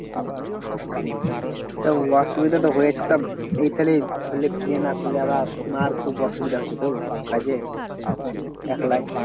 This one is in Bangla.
তা অসুবিধা তো হয়েছে তা এইখানে ধরলে বিয়ে না করলে আবার মার খুব অসুবিধা হচ্ছে তো কাজের একলাই